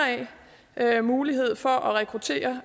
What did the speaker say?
af altså mulighed for at rekruttere